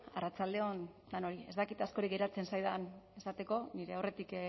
arratsalde on denoi ez dakit askorik geratzen zaidan esateko nire aurretik